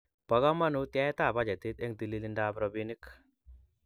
Bo kamanut yaetab bajetit eng telilindab robinik